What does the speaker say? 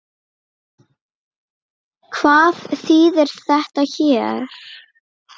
Hvað þýðir þetta hér?